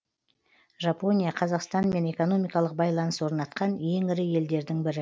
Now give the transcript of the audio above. жапония қазақстанмен экономикалық байланыс орнатқан ең ірі елдердің бірі